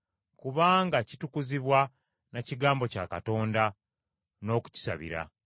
kubanga kitukuzibwa na kigambo kya Katonda, n’okukisabira.